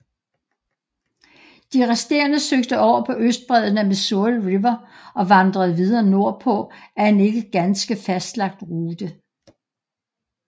De resterende søgte over på østbredden af Missouri River og vandrede videre nordpå ad en ikke ganske fastlagt rute